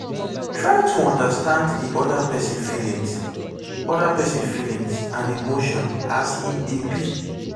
try to understand di oda person feelings oda person feelings and emotions as e dey be